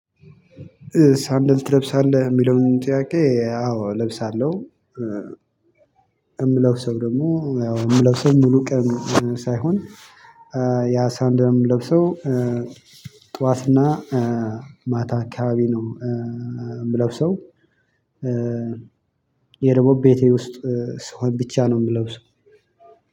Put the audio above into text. ሳንድል ትለብሳለህ የሚለውን ጥያቄ? አዎ እለብሳለሁ እምለብሰው ደግሞ ያው የምለብሰው ሙሉ ቀን ሳይሆን ያ ሳንደል የምለብሰው ጧትና ማታ አካባቢ ነው እምለብሰው። ያ ደሞ ቤቴ ውስጥ ስሆን ብቻ ነው የምለውሰው።